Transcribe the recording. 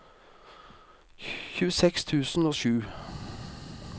tjueseks tusen og sju